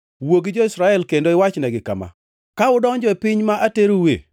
“Wuo gi jo-Israel kendo iwachnegi kama: ‘Ka udonjo e piny ma ateroue,